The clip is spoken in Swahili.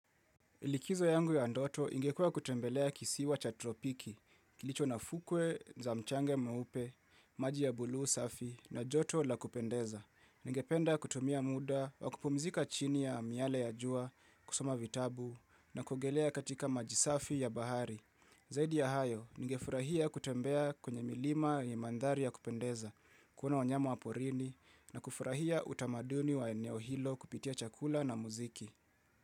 Ilikizo yangu ya ndoto ingekua kutembelea kisiwa cha tropiki, kilicho na fukwe za mchanga mweupe, maji ya buluu safi, na joto la kupendeza. Ninge penda kutumia muda, wakupumizika chini ya miale ya jua, kusoma vitabu, na kuogelea katika maji safi ya bahari. Zaidi ya hayo, ninge furahia kutembea kwenye milima ya mandhari ya kupendeza, kuona wanyama wa porini, na kufurahia utamaduni wa eneo hilo kupitia chakula na muziki.